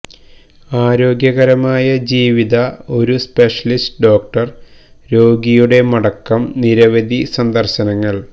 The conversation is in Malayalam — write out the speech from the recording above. ആരോഗ്യകരമായ ജീവിത ഒരു സ്പെഷ്യലിസ്റ്റ് ഡോക്ടർ രോഗിയുടെ മടക്കം നിരവധി സന്ദർശനങ്ങൾ